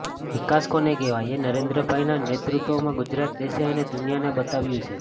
વિકાસ કોને કહેવાય એ નરેન્દ્રભાઈના નેતૃત્વમાં ગુજરાતે દેશ અને દુનિયાને બતાવ્યું છે